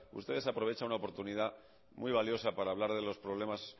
usted desaprovecha una oportunidad muy valiosa para hablar de los problemas